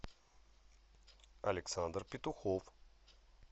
александр петухов